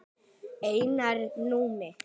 Einar Númi.